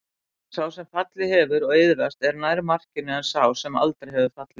Sá sem fallið hefur og iðrast er nær markinu en sá sem aldrei hefur fallið.